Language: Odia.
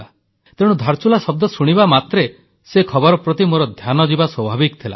ତେଣୁ ଧାରଚୁଲା ଶବ୍ଦ ଶୁଣିବା ମାତ୍ରେ ସେ ଖବର ପ୍ରତି ମୋର ଧ୍ୟାନ ଯିବା ସ୍ୱାଭାବିକ ଥିଲା